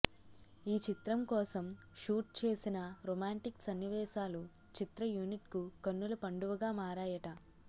ఈ చిత్రం కోసం షూట్ చేసిన రొమాంటిక్ సన్నివేశాలు చిత్ర యూనిట్కు కన్నుల పండువగా మారాయట